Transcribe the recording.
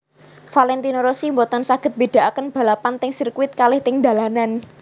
Valentino Rossi mboten saget mbedaaken balapan teng sirkuit kalih teng dalanan